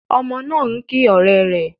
Ọmọbìnrin náà ń kí ọ̀rẹ́ rẹ̀.